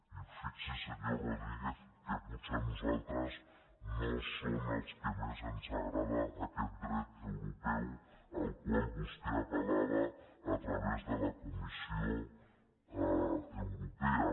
i fixi’s senyor rodríguez que potser nosaltres no som als que més ens agrada aquest dret europeu al qual vostè apel·lava a través de la comissió europea